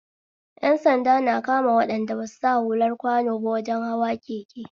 Ƴan sanda na kama waɗanda basu sa hular kwano ba wajen hawa keke